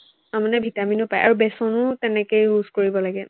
তাৰমানে ভিটামিনো পায় আৰু বেচনো তেনেকে use কৰিব লাগে